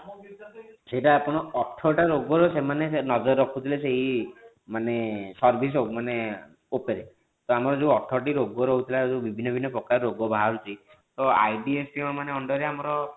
ସେଟ ଆପଣ ଅଠର ଟା ରୋଗ ର ସେମାନେ ନଜର ରଖୁଥିଲେ ସେଇ ମାନେ service ଆଉ ମାନେ ଉପରେ ତ ଆମର ଯୋଉ ଅଠର ଟି ରୋଗ ରହୁଥିଲା ଯୋଉ ବିଭିନ୍ନ ବିଭିନ୍ନ ପ୍ରକାର ରୋଗ ବାହାରୁଛି ତ IDSP ମାନେ under ରେ ଆମର